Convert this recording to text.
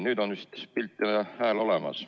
Nüüd on vist pilt ja hääl olemas.